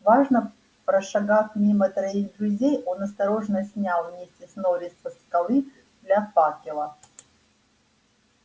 важно прошагав мимо троих друзей он осторожно снял миссис норрис со скалы для факела